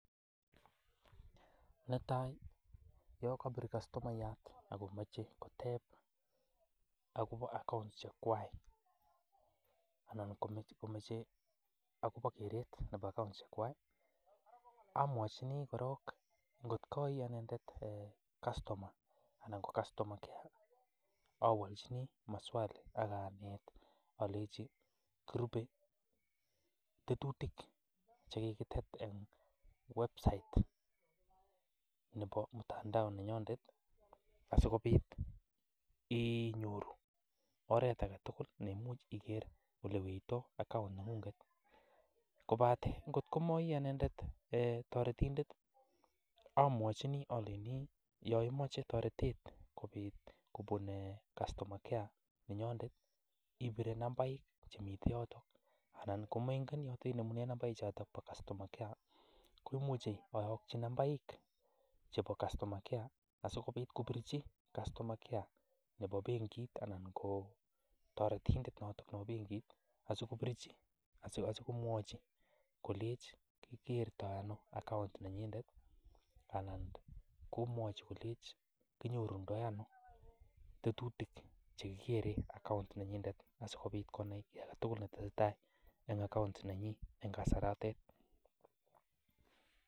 Netai yon kobir customayat akomache koteb akobo accounts chekwai, anan komoche keret akobo accounts chekwai, amwojin korok ng'ot ko inendet customer anan ko customer care awojin inendet maswali aganet inendet kole kiribe tetutik chekikitet en website nebo mtandao nenyondet asikobit iny'oru oret agetugul iger olewenditoi account neng'ung'et, kobaten kotko ma anendet toretindet omwojini olenji yoimoche toretet kobun customer care yenyondet ibire nambait emite yoton anan yemaimuch kony'or nambait noton nebo customr care komuch oyokyi nambaik chebo customer care asikobit kobirji customer care nebo benkit anan ko toretindet noton nebo benkit asikobirji asikomwoji kolenji kikerto ano account nenyinet anan komwoji kolenji kinyorundo ano tetutik chekikeren account[cs[ nenyinet asikobit konai ki agetugul netesetai en account nenyinet en kasaratet.